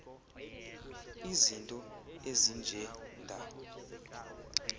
izinto ezinje nda